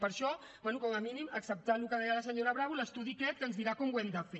per això bé com a mínim acceptar el que deia la senyora bravo l’estudi aquest que ens dirà com ho hem de fer